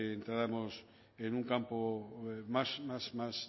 entráramos en un campo más